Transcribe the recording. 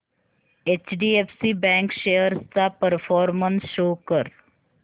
HDFC bank shares चा performance show कर